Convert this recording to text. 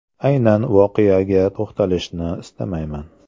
Aynan voqeaga to‘xtalishni istamayman.